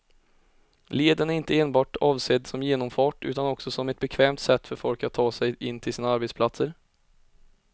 Leden är inte enbart avsedd som genomfart utan också som ett bekvämt sätt för folk att ta sig in till sina arbetsplatser.